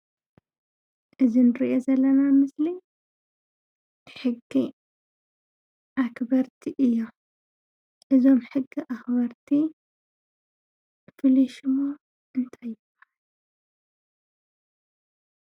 እዚ እንሪኦ ዘለና ኣብ ምስሊ ሕጊ ኣክበርቲ እዮም፡፡ እዞም ሕጊ ኣክበርቲ ፍሉይ ሽሞም እንታይ እዩ ?